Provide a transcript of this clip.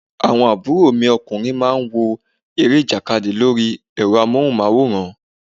Àwọn àbúrò mi ọkùnrin má ń wo eré ìjàkadì lórí ẹ̀rọ amóhùn máwòrán